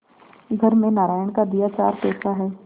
घर में नारायण का दिया चार पैसा है